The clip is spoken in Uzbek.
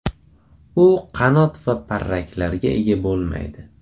U qanot va parraklarga ega bo‘lmaydi.